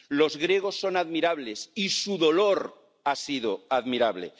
Los griegos son admirables, y su dolor ha sido admirable.